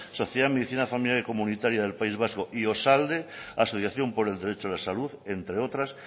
sociedad en medicina comunitaria del país vasco y osalde asociación por el derecho a la salud entre otras